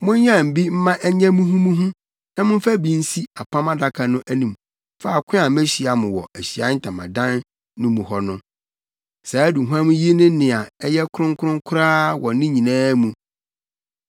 Monyam bi mma ɛnyɛ muhumuhu na momfa bi nsi Apam Adaka no anim faako a mehyia mo wɔ Ahyiae Ntamadan no mu hɔ no. Saa aduhuam yi ne nea ɛyɛ kronkron koraa wɔ ne nyinaa mu.